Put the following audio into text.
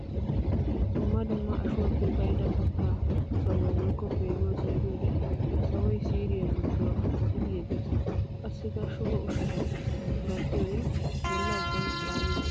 Dumma dumma ashuwappe ka'idda katta sawuwa woykko peenuwa singgiyoode sawoy siiriya giduwa qoqqoppi yegees. Qassikk shugo ushshatta ganxxiyodde bolla ubban caaligees.